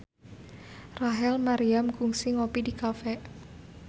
Rachel Maryam kungsi ngopi di cafe